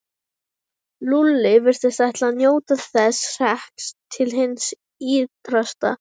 Eða að minnsta kosti fengið vilyrði fyrir heimkomu.